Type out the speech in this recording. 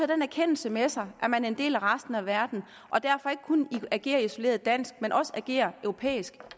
den erkendelse med sig at man er en del af resten af verden og derfor ikke kun kan agere isoleret dansk men også må agere europæisk